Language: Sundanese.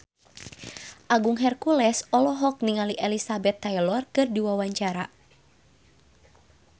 Agung Hercules olohok ningali Elizabeth Taylor keur diwawancara